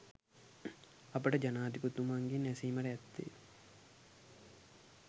අපට ජනාධිපතිතුමන්ගෙන් ඇසීමට ඇත්තේ